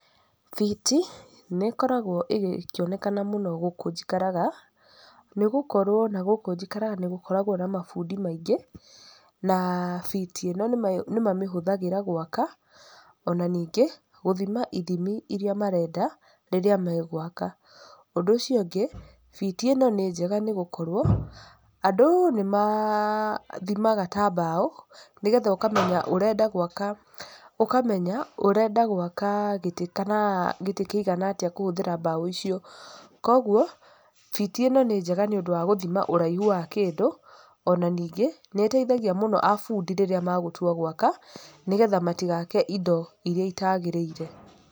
Biti, nĩ ĩkoragwo ĩkĩonekana mũno gũkũ njikaraga, nĩgũkorwo nagũkũ njikaraga nĩgũkoragwo na mabundi maingĩ, na biti ĩno nĩ mamĩhũthagĩra gwaka, ona ningĩ, gũthima ithimi iria marenda rĩrĩa magwaka, ũndũ ũcio ũngĩ, biti ĩno nĩ njega nĩgũkorwo andũ nĩ mathimaga ta mbaũ, nĩgetha ũkamenya ũrenda gwaka, ũkamenya ũrenda gwaka gĩtĩ kana gĩtĩ kĩigana atĩa kũhũthĩra mbaũ icio, koguo biti ĩno nĩ njega nĩũndũ wa gũthima ũraihu wa kĩndũ, ona ningĩ, nĩ ĩteithagia mũno abundi rĩrĩa magũtua gwaka, nĩgetha matigake indo iria itagĩrĩire.